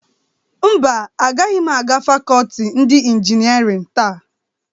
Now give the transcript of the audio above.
Mba, agaghị m aga fakọọti nke injinịarịn taa.